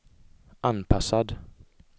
anpassad